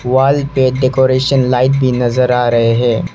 Wall पे decoration light भी नजर आ रहे है।